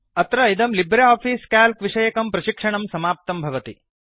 अत्र इदं LibreOffice Calc विषयकं प्रशिक्षणं समाप्तं भवति